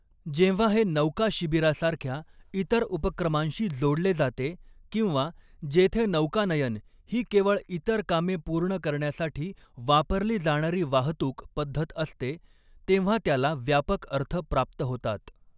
जेव्हा हे नौका शिबिरासारख्या इतर उपक्रमांशी जोडले जाते किंवा जेथे नौकानयन ही केवळ इतर कामे पूर्ण करण्यासाठी वापरली जाणारी वाहतूक पद्धत असते, तेव्हा त्याला व्यापक अर्थ प्राप्त होतात.